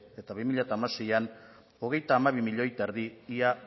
eta bi mila hamaseian hogeita hamabi milioi eta erdi ia